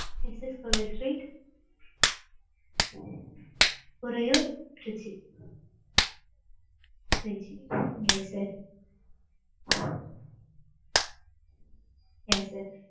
SS கோவில் street. Uraiyur Trichy. Trichy. yes sir yes sir.